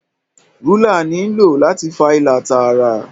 Rúlà ní ló láti fà ìlà Tààrà